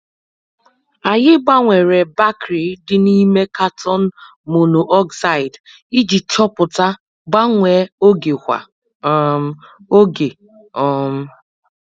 Anyị gbanwere bakri dị n'ime katon monoxide iji chọpụta gbanwe oge kwa um oge. um